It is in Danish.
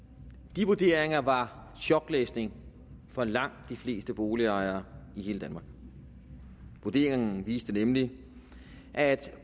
de vurderinger var choklæsning for langt de fleste boligejere i hele danmark vurderingerne viste nemlig at